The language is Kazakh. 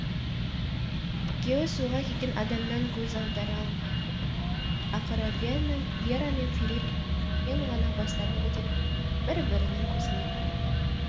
екеуі суға кеткен адамнан көз аудара алмай тұрды ақыры вера мен филипп жаймен ғана бастарын көтеріп бір бірінің көзіне қарады